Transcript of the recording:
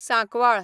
Sancoale